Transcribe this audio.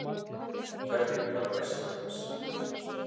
hvernig var æska hans